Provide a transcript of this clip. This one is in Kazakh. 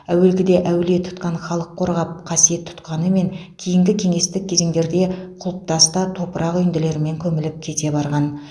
әуелгіде әулие тұтқан халық қорғап қасиет тұтқанымен кейінгі кеңестік кезеңдерде құлыптас та топырақ үйінділерімен көміліп кете барған